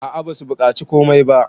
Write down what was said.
a a basu bukaci komai ba